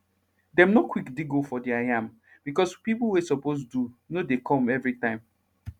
dem nor quick dig hole for deir yam becos pipo wey suppose do nor dey come every time